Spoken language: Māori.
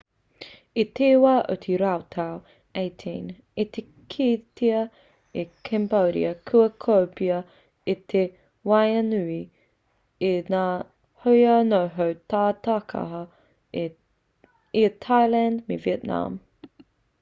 i te wā o te rautau 18 i kitea e cambodia kua kōpēa ia ki waenganui i ngā hoa noho tata taikaha i a thailand me vietnam